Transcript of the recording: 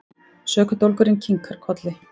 Sökudólgurinn kinkar kolli.